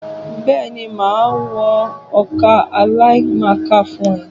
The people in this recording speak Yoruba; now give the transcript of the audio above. Bẹ́ẹ̀ni, màá wọn ọkà àlìkámà fún ẹ.